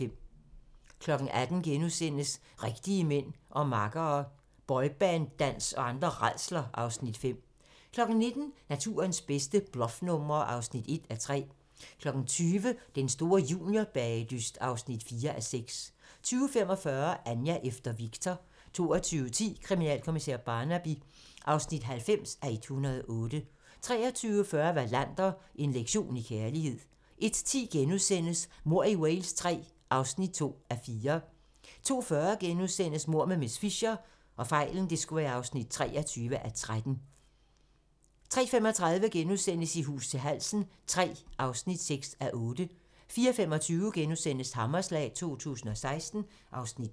18:00: Rigtige mænd og makkere - Boyband-dans og andre rædsler (Afs. 5)* 19:00: Naturens bedste bluffnumre (1:3) 20:00: Den store juniorbagedyst (4:6) 20:45: Anja efter Viktor 22:10: Kriminalkommissær Barnaby (90:108) 23:40: Wallander: En lektion i kærlighed 01:10: Mord i Wales III (2:4)* 02:40: Mord med miss Fisher (23:13)* 03:35: I hus til halsen III (6:8)* 04:25: Hammerslag 2016 (Afs. 2)*